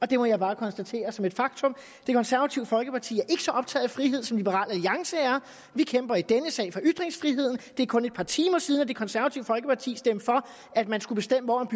det må jeg bare konstatere som et faktum det konservative folkeparti er ikke så optaget af frihed som liberal alliance er vi kæmper i denne sag for ytringsfriheden det er kun et par timer siden at det konservative folkeparti stemte for at man skulle bestemme hvor